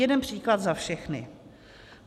Jeden příklad za všechny.